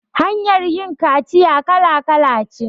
Hanyar yin kaciya kala kala ce